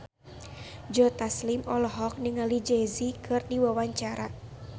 Joe Taslim olohok ningali Jay Z keur diwawancara